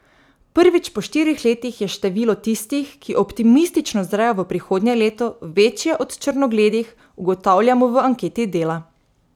Prvič po štirih letih je število tistih, ki optimistično zrejo v prihodnje leto, večje od črnogledih, ugotavljamo v anketi Dela.